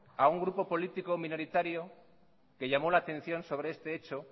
a un grupo político minoritario que llamó la atención sobre este hecho